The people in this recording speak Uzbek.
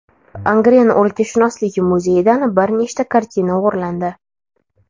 Angren o‘lkashunoslik muzeyidan bir nechta kartina o‘g‘irlandi.